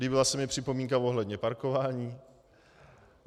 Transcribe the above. Líbila se mi připomínka ohledně parkování.